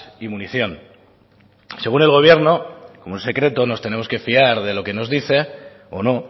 y munición según el gobierno como es secreto nos tenemos que fiar de lo que nos dice o no